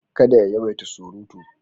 Kada ya yawaita surutu.